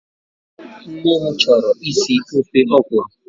Nne m chọrọ isi ofe Okro